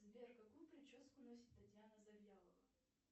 сбер какую прическу носит татьяна завьялова